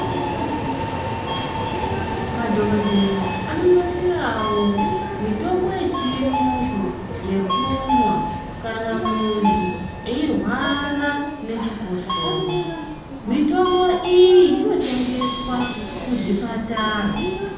Madhokodheya anonasirawo mitombo yechiungu yekumwa kana muntu eirwara nechikosoro mitombo iyi inotengeswa kuzvipatara.